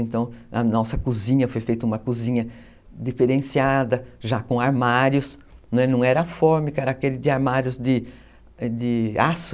Então, a nossa cozinha foi feita uma cozinha diferenciada, já com armários, não era fórmica, era aquele de armários de de aço.